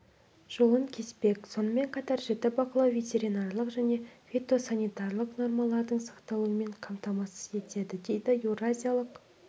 жолын кеспек сонымен қатар жіті бақылау ветеринарлық және фитосанитарлық нормалардың сақталуын қамтамасыз етеді дейді еуразиялық